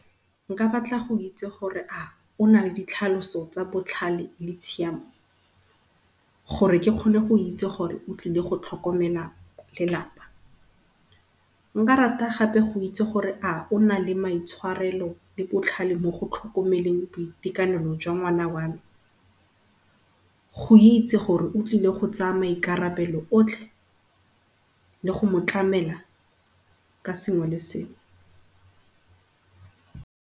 Nka batla go itse gore a ona le ditlhaloso tsa botlhale le tshiamo gore ke kgone go itse gore otlile go tlhokomela lelapa. Nka rata gape go itse gore a ona le maitshwarelo le botlhale mo go tlhokomeleng boitekanelo jwa ngwana wame. Go itse gore otlile go tsaya maikarabelo otlhe le go motlamela ka sengwe le sengwe.